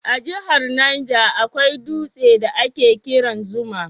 A jahar Niger akwai dutse da a ke kiran Zuma